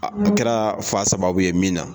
A kɛra fa sababu ye min na.